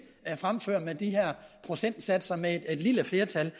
fremfører med disse procentsatser med et lille flertal